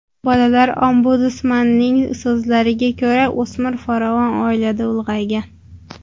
Bolalar ombudsmanining so‘zlariga ko‘ra, o‘smir farovon oilada ulg‘aygan.